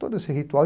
Todo esse ritual.